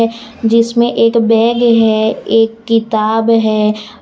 जिसमें एक बैग है एक किताब है।